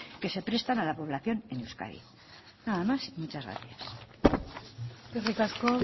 que se prestan a la población en euskadi nada más y muchas gracias eskerrik asko